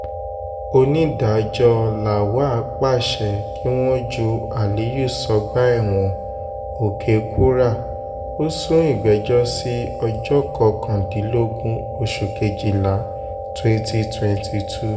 onídàájọ́ lawal pàṣẹ kí wọ́n ju aliyu sọ́gbà ẹ̀wọ̀n òkè-kúrà ó sún ìgbẹ́jọ́ sí ọjọ́ kọkàndínlógún oṣù kejìlá twenty twenty two